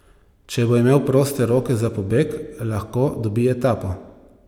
Če bo imel proste roke za pobeg, lahko dobi etapo.